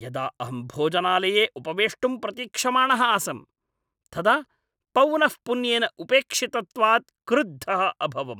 यदा अहं भोजनालये उपवेष्टुं प्रतीक्षमाणः आसम् तदा पौनःपुन्येन उपेक्षितत्वात् क्रुद्धः अभवम्।